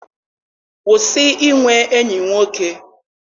Kwụsị inwe enyi nwoke!